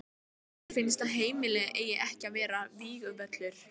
Mér finnst að heimilið eigi ekki að vera vígvöllur.